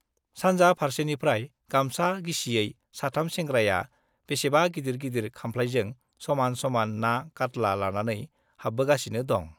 सानजा फार्सेनिफ्राय गामसा गिसियै साथाम सेंग्राया बेसेबा गिदिर गिदिर खामफ्लाइजों समान समान ना काट्ला लानानै हाब्बोगासिनो दं।